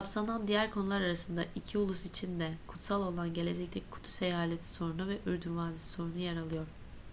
kapsanan diğer konular arasında iki ulus için de kutsal olan gelecekteki kudüs eyaleti sorunu ve ürdün vadisi sorunu yer alıyor